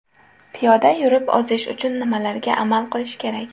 Piyoda yurib ozish uchun nimalarga amal qilish kerak?.